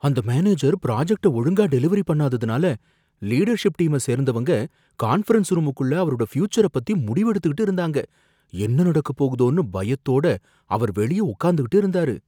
அந்த மேனேஜர் புராஜெக்ட்ட ஒழுங்கா டெலிவெரி பண்ணாததுனால லீடர்ஷிப் டீம சேர்ந்தவங்க கான்ஃபிரன்ஸ் ரூமுக்குள்ள அவரோட ஃபியூச்சரை பத்தி முடிவு எடுத்துகிட்டு இருந்தாங்க, என்ன நடக்கப்போகுதோனு பயத்தோட அவர் வெளிய உக்காந்துகிட்டு இருந்தாரு.